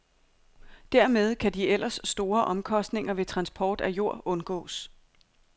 Dermed kan de ellers store omkostninger ved transport af jord undgås.